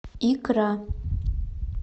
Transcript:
икра